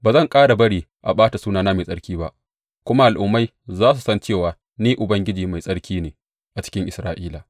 Ba zan ƙara bari a ɓata sunana mai tsarki ba, kuma al’ummai za su san cewa Ni Ubangiji Mai Tsarki ne a cikin Isra’ila.